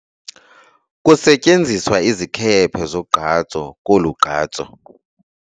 Kusetyenziswa izikhephe zogqatso kolu gqatso.